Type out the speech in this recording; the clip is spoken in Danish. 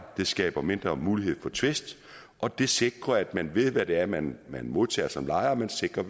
det skaber mindre mulighed for tvist og det sikrer at man ved hvad det er man modtager som lejer og man sikrer